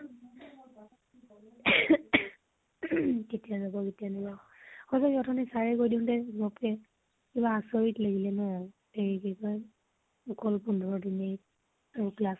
কেতিয়া যা, কেতিয়া নাজাব । হয় দেই অথনি sir কৈ দিওতে , কিবা আচৰিত লাগিলে ন ? এই কি কয়, অকল পোন্ধৰ দিনই আৰু class হʼব ।